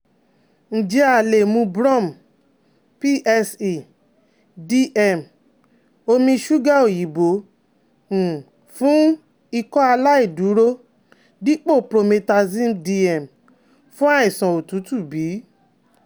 Njẹ a le mu Brom/PSE/DM omi ṣuga oyinbo um fun Ikọaláìdúró dipo Promethazine-DM fun aisan otutu bi?